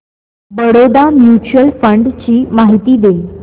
Baroda mutual fund ची माहिती दे